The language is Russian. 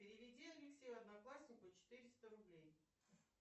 переведи алексею однокласснику четыреста рублей